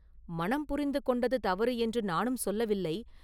“மணம் புரிந்து கொண்டது தவறு என்று நானும் சொல்லவில்லை.